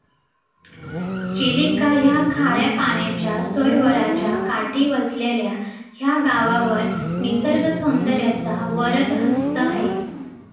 चिलिका या खाऱ्या पाण्याच्या सरोवराच्या काठी वसलेले या गावावर निसर्गसौदर्याचा वरदहस्त आहे.